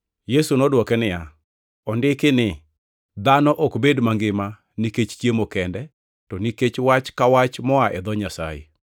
Yesu nodwoke niya, “Ondiki ni, ‘Dhano ok bed mangima nikech chiemo kende, to nikech wach ka wach moa e dho Nyasaye.’ + 4:4 \+xt Rap 8:3\+xt* ”